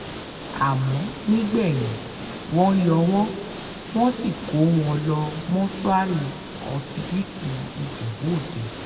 àmọ́ nígbẹ̀yìn wọ́n yọ́ wọn wọ́n sì kó wọn lọ́ọ́ mọ́ṣúárì ọsibítù ìjẹ̀bù òde